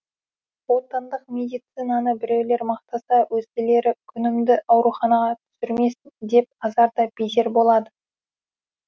отандық медицинаны біреулер мақтаса өзгелері күнімді ауруханаға түсірмесін деп азар да безер болады